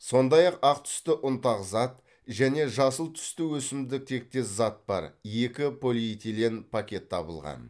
сондай ақ ақ түсті ұнтақ зат және жасыл түсті өсімдік тектес зат бар екі полиэтилен пакет табылған